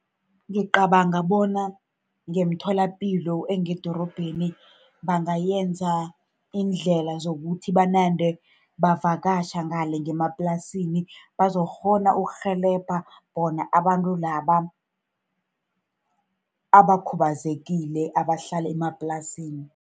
Ngicabanga bona ngemitholapilo engedorobheni bangayenza indlela zokuthi banande bavakatjha ngale ngemaplasini, bazokukghona ukurhelebha bona abantu laba abakhubazekile abahlala emaplasini.